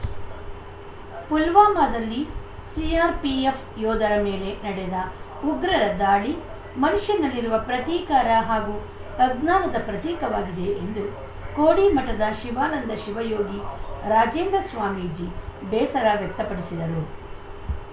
ಪುಲ್ವಾಮದಲ್ಲಿ CRPF ಯೋಧರ ಮೇಲೆ ನಡೆದ ಉಗ್ರರ ದಾಳಿ ಮನುಷ್ಯನಲ್ಲಿರುವ ಪ್ರತೀಕಾರ ಹಾಗೂ ಅಜ್ಞಾನದ ಪ್ರತೀಕವಾಗಿದೆ ಎಂದು ಕೋಡಿ ಮಠದ ಶಿವಾನಂದ ಶಿವಯೋಗಿ ರಾಜೇಂದ್ರ ಸ್ವಾಮೀಜಿ ಬೇಸರ ವ್ಯಕ್ತಪಡಿಸಿದರು